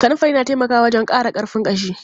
Kanunfari na taimaka wajen ƙara ƙarfin ƙashi.